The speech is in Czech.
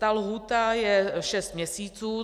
Ta lhůta je šest měsíců.